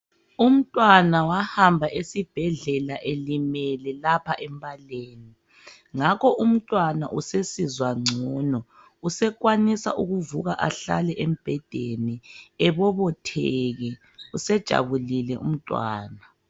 Umntwana wahamba esibhedlela elimele lapha embaleni .Ngakho umntwana usesizwa ngcono usekwanisa ukuvuka ahlale embhedeni ebobotheke usejabulile umntwana.